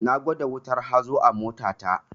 Na gwada wutar hazo a mota ta